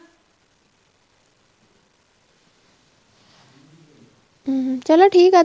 ਹਮ ਚਲੋਂ ਠੀਕ ਆ